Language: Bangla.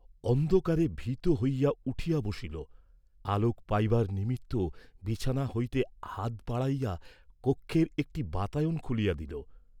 অন্ধকারে ভীত হইয়া উঠিয়া বসিল, আলোক পাইবার নিমিত্ত বিছানা হইতে হাত বাড়াইয়া কক্ষের একটি বাতায়ন খুলিয়া দিল।